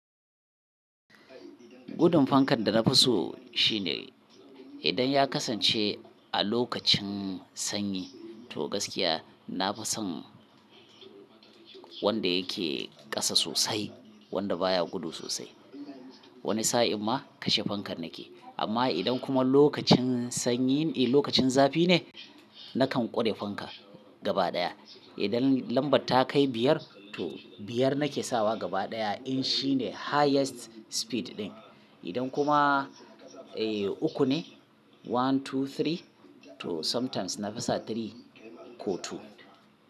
Gudun fankan da na fi so shine idan ya kasance a lokacin sanyi to gaskiya na fi son wanda yake ƙasa sosai, wanda baya gudu sosai. Wani sa'in ma kashe fankar nake. Amma idan kuma lokacin sanyi, eh lokacin zafi ne, nakan ƙware fanka gaba ɗaya. Idan lambar ta kai biyar to biyar nake sawa gaba ɗaya in shi ne highest speed ɗin. Idan kuma eh uku ne one, two, three to sometimes na fi sa three ko two.